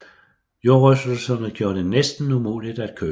Jordrystelserne gjorde det nærmest umuligt at køre